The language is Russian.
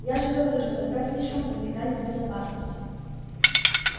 я же говорю что тогда слишком увлекались безопасностью